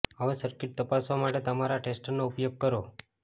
હવે સર્કિટ તપાસવા માટે તમારા ટેસ્ટરનો ઉપયોગ કરો